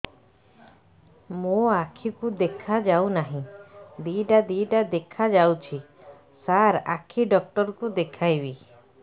ମୋ ଆଖିକୁ ଦେଖା ଯାଉ ନାହିଁ ଦିଇଟା ଦିଇଟା ଦେଖା ଯାଉଛି ସାର୍ ଆଖି ଡକ୍ଟର କୁ ଦେଖାଇବି